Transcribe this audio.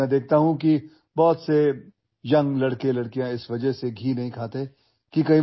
पण मी बघतो की बरेचसे तरुण तरुण केवळ जाड होण्याच्या भीतीने तूप खात नाहीत